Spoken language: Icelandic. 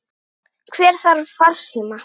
Hver þarf farsíma?